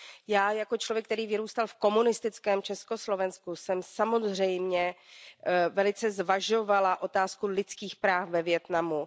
Já jako člověk, který vyrůstal v komunistickém Československu, jsem samozřejmě velice zvažovala otázku lidských práv ve Vietnamu.